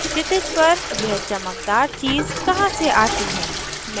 क्षितिज पर यह चमकदार चीज़ कहाँ से आती है